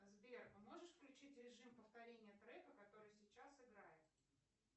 сбер а можешь включить режим повторения трека который сейчас играет